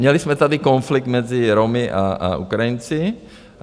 Měli jsme tady konflikt mezi Romy a Ukrajinci.